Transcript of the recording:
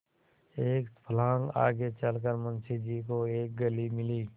एक फर्लांग आगे चल कर मुंशी जी को एक गली मिली